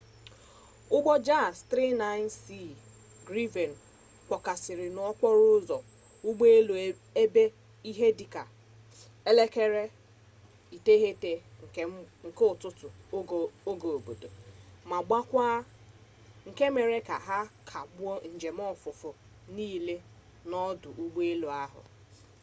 ụgbọ jas 39c gripen kpọkasịrị n'okporo ụzọ ụgbọelu ebe ihe dị ka 9:30 nke ụtụtụ oge obodo 0230 utc ma gbawaa nke mere ka a kagbuo njem ofufe niile n'odụ ụgbọelu a